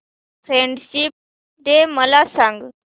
friendship day मला सांग